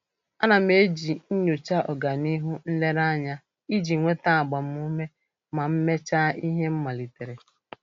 A na m eji nnyocha ọganihu nlereanya iji nweta agbamuume ma mechaa ihe m malitere.